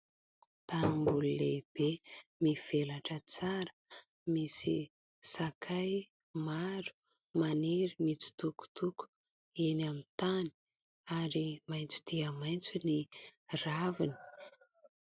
Tanimboly lehibe mivelatra tsara misy sakay maro maniry mitsitokotoko eny amin'ny tany, ary maintso dia maintso ny raviny.